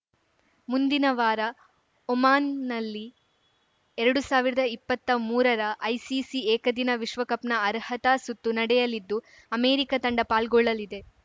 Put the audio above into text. ಮುಂದಿನ ವಾರ ಒಮಾನ್‌ನಲ್ಲಿ ಎರಡು ಸಾವಿರದ ಇಪ್ಪತ್ತಾ ಮೂರರ ಐಸಿಸಿ ಏಕದಿನ ವಿಶ್ವಕಪ್‌ನ ಅರ್ಹತಾ ಸುತ್ತು ನಡೆಯಲಿದ್ದು ಅಮೆರಿಕ ತಂಡ ಪಾಲ್ಗೊಳ್ಳಲಿದೆ